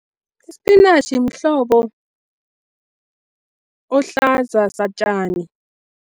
Ispinatjhi mhlobo ohlaza satjani.